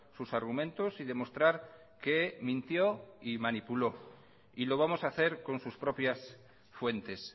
sus argumentos y demostrar que mintió y manipuló y lo vamos a hacer con sus propias fuentes